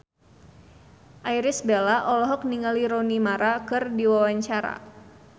Irish Bella olohok ningali Rooney Mara keur diwawancara